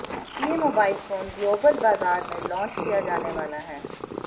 यह mobile phone global बाजार में लॉन्च किया जाने वाला है